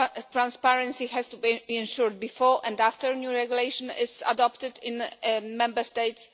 Transparency has to be ensured before and after a new regulation is adopted in the Member States.